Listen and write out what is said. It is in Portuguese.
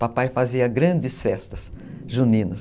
Papai fazia grandes festas juninas.